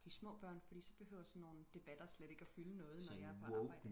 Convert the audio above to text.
de små børn fordi så behøver sådan nogle debatter slet ikke fylde noget når jeg er på arbejde